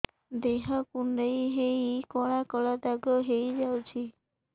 ଦେହ କୁଣ୍ଡେଇ ହେଇ କଳା କଳା ଦାଗ ହେଇଯାଉଛି